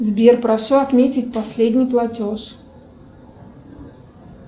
сбер прошу отметить последний платеж